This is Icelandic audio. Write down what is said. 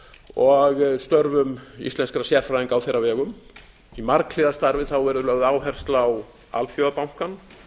og störfum íslenskra sérfræðinga á þeirra vegum í marghliða starfi verður lögð áhersla á alþjóðabankann